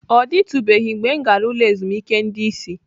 Ọ dịtụbeghị mgbe m gara ụlọ ezumike ndị isi.